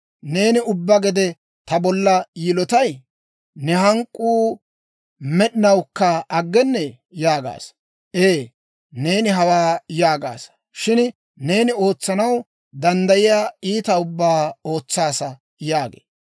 Neeni ubbaa gede ta bolla yilotay? Ne hank'k'uu med'inawukka aggennee?› yaagaasa. Ee, neeni hawaa yaagaasa; shin neeni ootsanaw danddayiyaa iitaa ubbaa ootsaasa» yaagee.